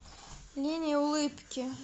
линия улыбки